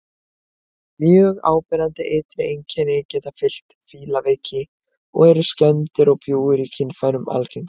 Mjög áberandi ytri einkenni geta fylgt fílaveiki og eru skemmdir og bjúgur í kynfærum algengar.